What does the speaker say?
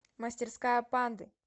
мастерская панды